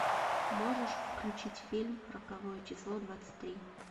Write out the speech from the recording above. можешь включить фильм роковое число двадцать три